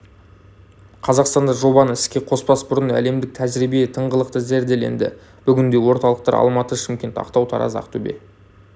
қазақстанда жобаны іске қоспас бұрын әлемдік тәжірибе тыңғылықты зерделенді бүгінде орталықтар алматы шымкент ақтау тараз ақтөбе